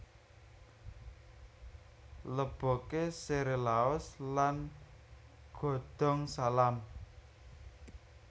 Leboke sere laos lan godhong salam